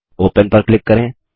open पर click करें